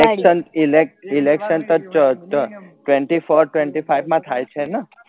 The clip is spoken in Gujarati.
ઈલે election તો તો twenty fourtwenty five માં થયા છે ને